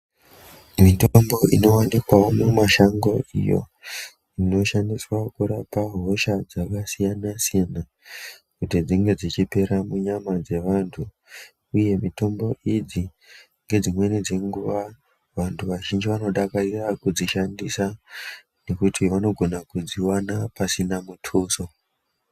Mutombo inooneka mumasango unoshandiswa kurapa hosha dzevantu dzakasiyana siyana kuti dzinedzichiperera munyama dzevantu nedzimwe nguva vantu vashinji vanodzidakarirakarira kudzishandisa pasina mutuso.